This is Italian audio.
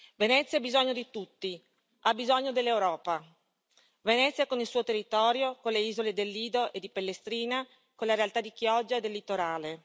Venezia ha bisogno di tutti, ha bisogno dell'Europa. Venezia con il suo territorio, con le isole del Lido e di Pellestrina, con la realtà di Chioggia e del litorale.